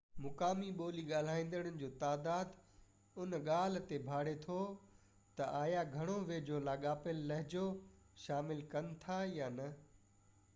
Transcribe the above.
مقامي ٻولي ڳالهائيندڙن جو تعداد ان ڳالهہ تي ڀاڙي ٿو تہ آيا گهڻو ويجهو لاڳاپيل لهجو شامل ڪن ٿا يا نہ